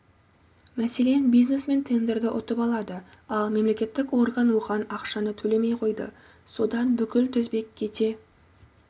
мәселен бизнесмен тендерді ұтып алады ал мемлекеттік орган оған ақшаны төлемей қойды содан бүкіл тізбек кете